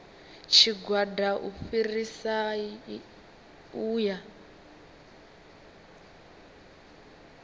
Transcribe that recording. tshigwada u fhirisa u ya